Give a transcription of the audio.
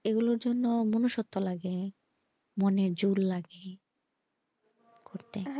এগুলোর জন্য মনোস্তত্ব লাগে মনের জোর লাগে করতে।